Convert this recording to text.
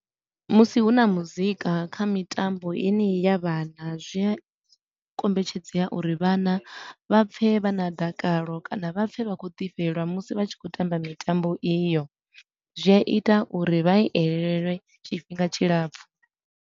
Musi hu na muzika kha mitambo yeneyi ya vhana, zwi a kombetshedzea uri vhana vha pfe vha na dakalo kana vha pfe vha khou ḓi fhelelwa musi vha tshi khou tamba mitambo iyo, zwi a ita uri vha i elelwe tshifhinga tshilapfu.